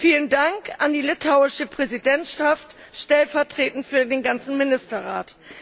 Vielen Dank an die litauische Präsidentschaft, stellvertretend für den ganzen Ministerrat.